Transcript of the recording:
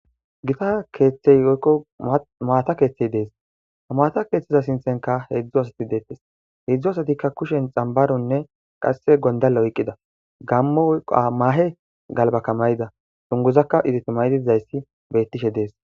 gita keeththey woykko maata keeththey dees ha maata keeththeza sinthenka heedzdzu asati deettes heedzdzu asatikka kushen xambaronne qasse gondalla oyqqida gammo yqa mahe galbaka mayida sunguzakka iditi maydidzayssi bettishe dees